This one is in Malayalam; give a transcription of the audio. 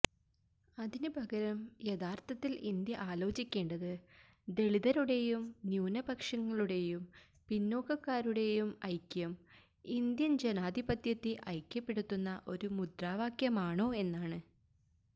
അതിന് പകരം യഥാർത്ഥത്തിൽ ഇന്ത്യ ആലോചിക്കേണ്ടത് ദളിതരുടെയും ന്യൂനപക്ഷങ്ങളുടെയും പിന്നോക്കക്കാരുടെയും ഐക്യം ഇന്ത്യൻ ജനാധിപതൃത്തെ ഐക്യപ്പെടുത്തുന്ന ഒരു മുദ്രാവാക്യമാണോ എന്നാണ്